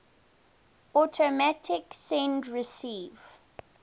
automatic send receive